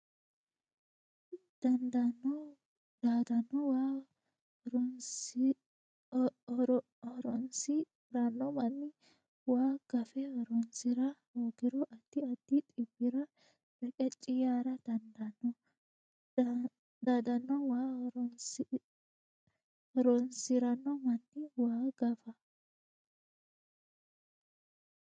Daadanno waa horoonsi ranno manni waa gafe horoonsi ra hoogiro addi addi dhibbira reqecci yaara dandaanno Daadanno waa horoonsi ranno manni waa gafe.